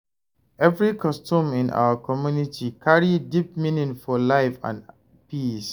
Every custom in our community carry deep meaning for life and peace.